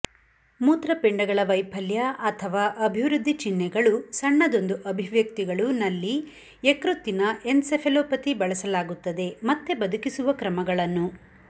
ಮೂತ್ರಪಿಂಡಗಳ ವೈಫಲ್ಯ ಅಥವಾ ಅಭಿವೃದ್ಧಿ ಚಿಹ್ನೆಗಳು ಸಣ್ಣದೊಂದು ಅಭಿವ್ಯಕ್ತಿಗಳು ನಲ್ಲಿ ಯಕೃತ್ತಿನ ಎನ್ಸೆಫೆಲೊಪತಿ ಬಳಸಲಾಗುತ್ತದೆ ಮತ್ತೆ ಬದುಕಿಸುವ ಕ್ರಮಗಳನ್ನು